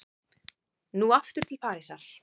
Nú aftur til Parísar.